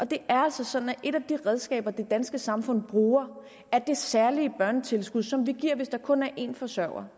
det er altså sådan at et af de redskaber det danske samfund bruger er det særlige børnetilskud som vi giver hvis der kun er en forsørger